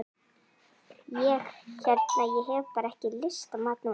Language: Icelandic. Ég hérna. ég hef bara ekki lyst á mat núna.